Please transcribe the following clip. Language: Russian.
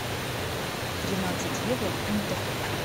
тринадцать евро в фунтах